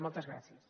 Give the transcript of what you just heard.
moltes gràcies